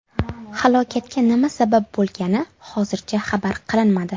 Halokatga nima sabab bo‘lgani hozircha xabar qilinmadi.